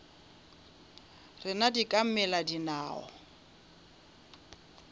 rena di ka mela dinao